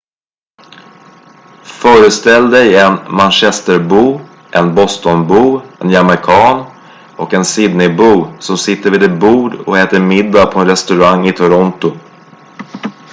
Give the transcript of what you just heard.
föreställ dig en manchesterbo en bostonbo en jamaican och en sydneybo som sitter vid ett bord och äter middag på en restaurang i toronto